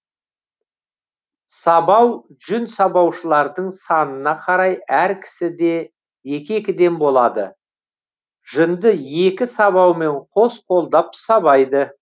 сабау жүн сабаушылардың санына қарай әр кісіде екі екіден болады жүнді екі сабаумен қос қолдап сабайды